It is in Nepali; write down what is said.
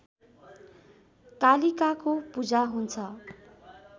कालिकाको पूजा हुन्छ